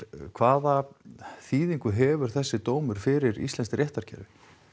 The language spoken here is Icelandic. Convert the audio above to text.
hvaða þýðingu hefur þessi dómur fyrir íslenskt réttarkerfi